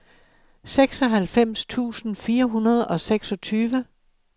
seksoghalvfems tusind fire hundrede og seksogtyve